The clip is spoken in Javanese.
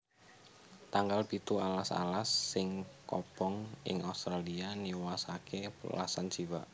Tanggal pitu Alas alas sing kobong ing Australia niwasaké welasan jiwa